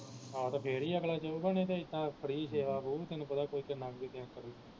ਆਹ ਤੇ ਫਿਰ ਹੀ ਅਗਲਾ ਜਾਊਗਾ ਨਹੀ ਤੇ ਇੱਦਾ free ਸੇਵਾ ਬਾਊ ਤੈਨੂੰ ਪਤਾ ਕੋਈ ਕਿੰਨਾ